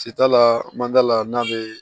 Sitan la mandala n'a bɛ